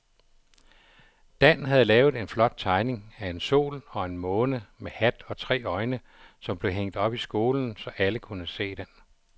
Dan havde lavet en flot tegning af en sol og en måne med hat og tre øjne, som blev hængt op i skolen, så alle kunne se den.